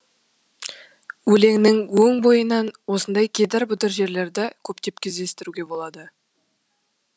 өлеңнің өн бойынан осындай кедір бұдыр жерлерді көптеп кездестіруге болады